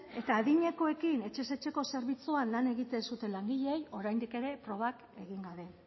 eta adinekoekin etxez etxeko zerbitzuan lan egiten zuten langileei oraindik ere probak egin gabe